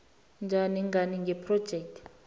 njani ngani ngephrojekhthi